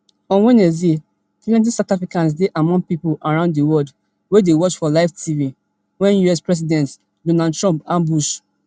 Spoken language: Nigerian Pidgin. on wednesday plenty south africans dey among pipo around di would wey dey watch for live tv wen us president donald trump ambush